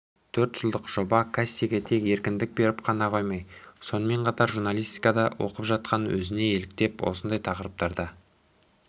төрт жылдық жоба кассиге тек еркіндік беріп қана қоймай сонымен қатар журналистикада оқып жатқан өзіне еліктеп осындай тақырыптарда